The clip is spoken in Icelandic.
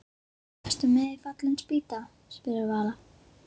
Ertu með í Fallin spýta? spurði Vala.